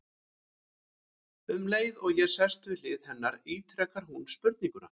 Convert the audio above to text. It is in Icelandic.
Um leið og ég sest við hlið hennar ítrekar hún spurninguna.